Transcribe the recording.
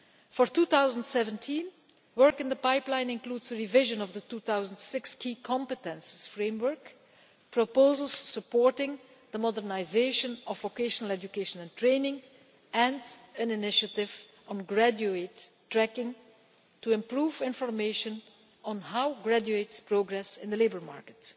For 2017, work in the pipeline includes a revision of the 2006 Key Competences Framework, proposals supporting the modernisation of vocational education and training, and an initiative on graduate tracking to improve information on how graduates progress in the labour market.